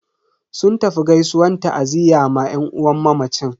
Sun tafi gaisuwan ta'aziyya ma yan uwan mamacin.